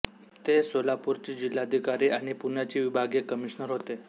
ते सोलापूरचे जिल्हाधिकारी आणि पुण्याचे विभागीय कमिशनर होते